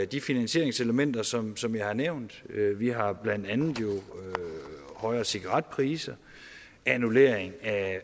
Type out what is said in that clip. de finansieringselementer som som jeg har nævnt vi har jo blandt andet højere cigaretpriser annullering af